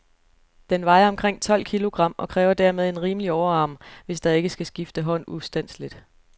Den vejer omkring tolv kilogram, og kræver dermed en rimelig overarm, hvis der ikke skal skifte hånd ustandseligt.